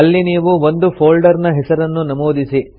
ಇಲ್ಲಿ ನೀವು ಒಂದು ಫೊಲ್ಡರ್ ನ ಹೆಸರನ್ನು ನಮೂದಿಸಿ